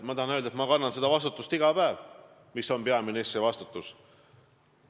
Ma tahan öelda, et ma kannan iga päev seda vastutust, mis on peaministri vastutus.